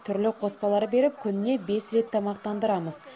түрлі қоспалар беріп күніне бес рет тамақтандырамыз